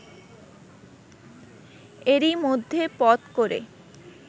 এরই মধ্যে পথ করে